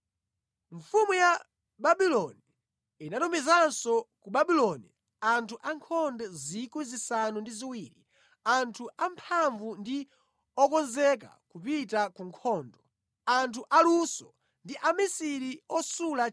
Mfumu ya Babuloni inatumizanso ku Babuloni anthu ankhondo 70,000, anthu amphamvu ndi okonzeka kupita ku nkhondo, anthu aluso ndi amisiri osula 1,000.